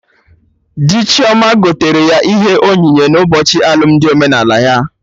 Dị Chioma gotere ya ihe onyinye n'ụbọchị alụmdi omenala ha